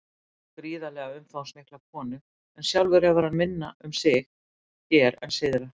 Hann á gríðarlega umfangsmikla konu en sjálfur hefur hann minna um sig hér en syðra.